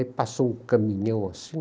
Aí passou um caminhão assim,